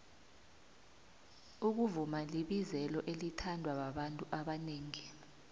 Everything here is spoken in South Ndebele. ukuvuma libizelo elithandwababantu abonengi